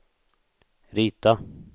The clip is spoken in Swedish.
rita